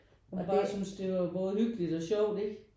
Hvor man bare synes det var både hyggeligt og sjovt ikke